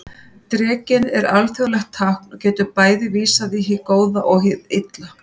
Drekinn er alþjóðlegt tákn og getur bæði vísað í hið góða og hið illa.